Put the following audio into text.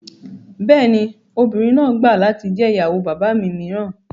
Bẹ́ẹ̀ ni, obìnrin náà gbà latí jẹ́ ìyàwó bàbá mi mìíràn